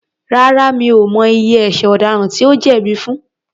Rárá, mi ò mọ iye ẹ̀ṣẹ̀ ọ̀daràn tí ó jẹ̀bi fun.